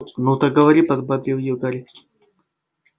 ну так говори подбодрил её гарри